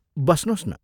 बस्नोस् न।